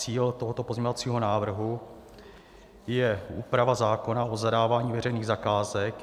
Cílem tohoto pozměňovacího návrhu je úprava zákona o zadávání veřejných zakázek.